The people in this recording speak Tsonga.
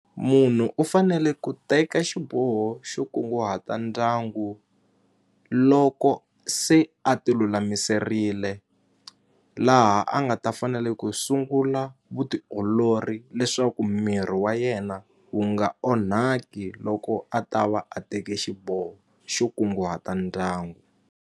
Munhu u fanele ku teka xiboho xo kunguhata ndyangu loko se a ti lulamiserile laha a nga ta fa fanele ku sungula vutiolori leswaku miri wa yena wu nga onhaki loko a ta va a teke xiboho xo kunguhata ndyangu.